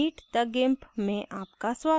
meet the gimp में आपका स्वागत है